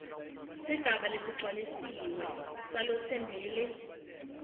sigaba lesigcwalisiwe salotsembele